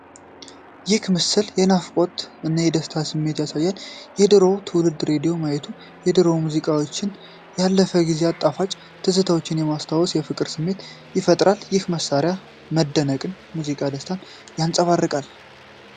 ይህ ምስል የናፍቆት እና የደስታ ስሜት ያሳያል። የድሮውን ትውልድ ሬዲዮ ማየቱ የድሮ ሙዚቃዎችንና ያለፉ ጊዜያት ጣፋጭ ትዝታዎችን በማስታወስ የፍቅር ስሜት ይፈጥራል። ይህ መሳሪያ መደነቅና ሙዚቃዊ ደስታን ያንጸባርቃል።